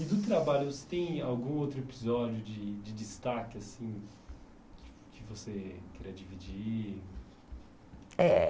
E do trabalho, você tem algum outro episódio de de destaque assim que que você queria dividir? Eh